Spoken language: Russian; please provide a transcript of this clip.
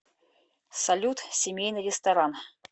салют семейный ресторан